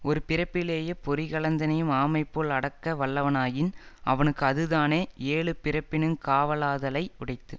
ஒருபிறப்பிலே பொறிகளந்தினையும் ஆமைபோல அடக்க வல்லவனாயின் அவனுக்கு அதுதானே எழுபிறப்பினுங் காவலாதலை யுடைத்து